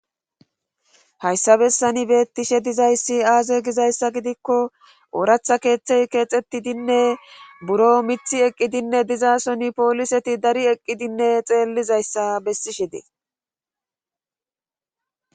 Hayssa bessani bettishe dizayssi aaze gizayssa gidikko ooratha keeththey keexxetidinne buro mithi eqqidinne dizaa soni pooliseti dari eqqidinne xeellizayssa bessishi dee.